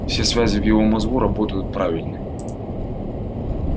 все связи в его мозгу работают правильной